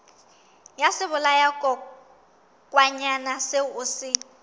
ya sebolayakokwanyana seo o se